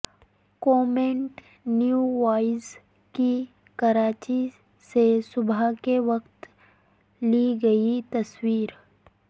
commit نیو وائز کی کراچی سے صبح کے وقت لی گئی تصویر